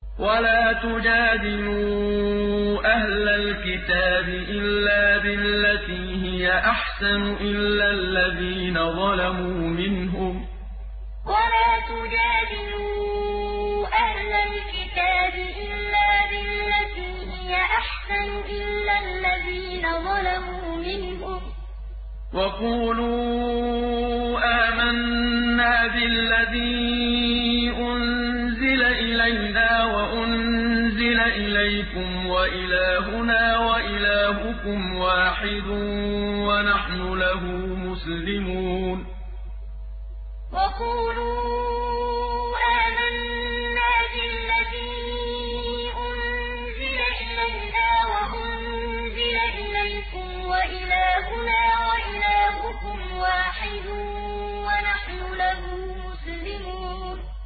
۞ وَلَا تُجَادِلُوا أَهْلَ الْكِتَابِ إِلَّا بِالَّتِي هِيَ أَحْسَنُ إِلَّا الَّذِينَ ظَلَمُوا مِنْهُمْ ۖ وَقُولُوا آمَنَّا بِالَّذِي أُنزِلَ إِلَيْنَا وَأُنزِلَ إِلَيْكُمْ وَإِلَٰهُنَا وَإِلَٰهُكُمْ وَاحِدٌ وَنَحْنُ لَهُ مُسْلِمُونَ ۞ وَلَا تُجَادِلُوا أَهْلَ الْكِتَابِ إِلَّا بِالَّتِي هِيَ أَحْسَنُ إِلَّا الَّذِينَ ظَلَمُوا مِنْهُمْ ۖ وَقُولُوا آمَنَّا بِالَّذِي أُنزِلَ إِلَيْنَا وَأُنزِلَ إِلَيْكُمْ وَإِلَٰهُنَا وَإِلَٰهُكُمْ وَاحِدٌ وَنَحْنُ لَهُ مُسْلِمُونَ